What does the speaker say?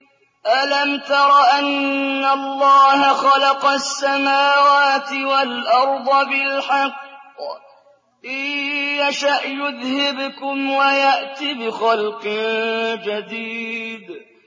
أَلَمْ تَرَ أَنَّ اللَّهَ خَلَقَ السَّمَاوَاتِ وَالْأَرْضَ بِالْحَقِّ ۚ إِن يَشَأْ يُذْهِبْكُمْ وَيَأْتِ بِخَلْقٍ جَدِيدٍ